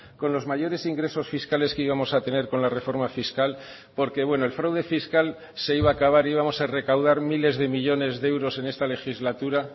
con los mayores ingresos fiscales que íbamos a tener con la reforma fiscal porque bueno el fraude fiscal se iba a acabar íbamos a recaudar miles de millónes de euros en esta legislatura